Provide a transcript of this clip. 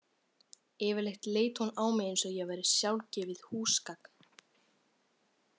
Yfirleitt leit hún á mig eins og ég væri sjálfgefið húsgagn.